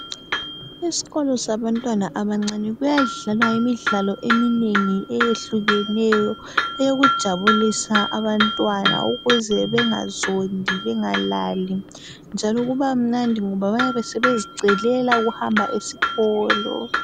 Isikolo sabantwana abancane kuyadlawaa imidlalo eminengi eyehlukeneyo eyokujabulisa abantwana ukuze bengazondi bengalali njalo kubamnandi ngoba bayabe sebezicelela ukuhamba esikolo